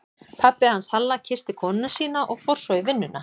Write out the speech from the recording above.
Pabbi hans Halla kyssti konuna sína og fór svo í vinnuna.